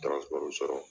sɔrɔ